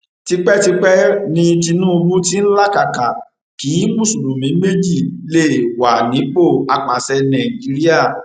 tipẹtipẹ ni tinubu tí ń làkàkà kí mùsùlùmí méjì lè wà nípò àpasẹ nàìjíríà